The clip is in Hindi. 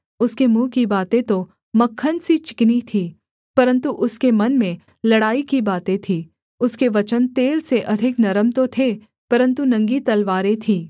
उसके मुँह की बातें तो मक्खन सी चिकनी थी परन्तु उसके मन में लड़ाई की बातें थीं उसके वचन तेल से अधिक नरम तो थे परन्तु नंगी तलवारें थीं